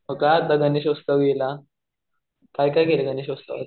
मग काय म्हणतो गणेश उत्सव नवीन हा? काय काय केलं गणेश उत्सवात?